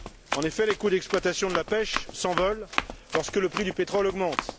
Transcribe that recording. En effet, les coûts d'exploitation de la pêche s'envolent lorsque le prix du pétrole augmente.